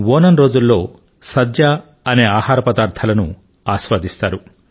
ఓణమ్ రోజుల్లో సద్య అనే ఆహారపదార్థాలను ఆస్వాదిస్తారు